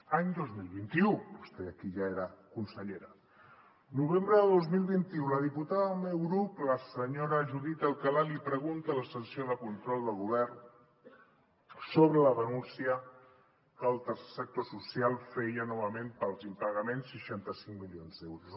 any dos mil vint u vostè aquí ja era consellera novembre de dos mil vint u la diputada del meu grup la senyora judit alcalá li pregunta a la sessió de control del govern sobre la denúncia que el tercer sector social feia novament pels impagaments seixanta cinc milions d’euros